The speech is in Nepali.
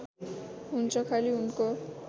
हुन्छ खाली उनको